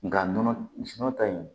Nga nɔnɔ ta in